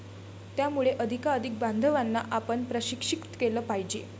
त्यामुळे अधिकाधिक बांधवांना आपण प्रशिक्षित केलं पाहिजे.